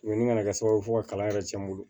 ni nana kɛ sababu ye fo ka kalan yɛrɛ cɛn n bolo